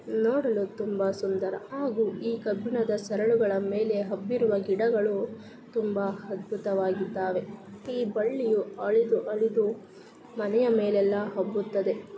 ನೊಡಲು ತುಂಬಾ ಸುಂದರ ಹಾಗು ಈ ಕಬ್ಬಿಣದ ಸರಳುಗಳ ಮೇಲೆ ಹಬ್ಬಿರುವ ಗಿಡಗಳು ತುಂಬಾ ಅದ್ಭುತವಾಗಿದ್ದಾವೆ ಈ ಬಳ್ಳಿಯೂ ಹರಿದು ಹರಿದು ಮನೆಯ ಮೇಲೆಲ್ಲ ಹಬ್ಬುತ್ತದೆ .